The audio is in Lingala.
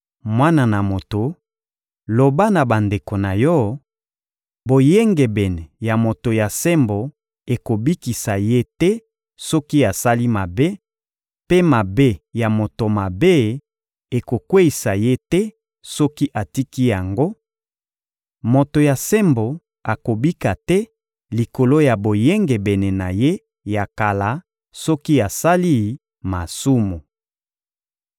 Mwana na moto, loba na bandeko na yo: ‹Boyengebene ya moto ya sembo ekobikisa ye te soki asali mabe, mpe mabe ya moto mabe ekokweyisa ye te soki atiki yango; moto ya sembo akobika te likolo ya boyengebene na ye ya kala soki asali masumu.›